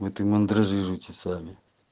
вот и мандражируйте сами